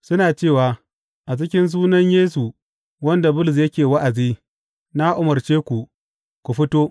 Suna cewa, A cikin sunan Yesu wanda Bulus yake wa’azi, na umarce ku, ku fito.